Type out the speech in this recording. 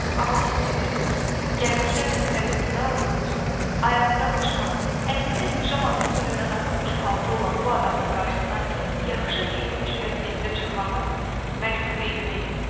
Amma hiss edirdim ki, gəlməkdən məqsədim nə olur olsun, ayağında başmaq, əynində pijamanın üstündən atılmış palto olan bu adamın qarşısına yaxşı geyinmiş vəziyyətdə çıxmağım mənim xeyrimə idi.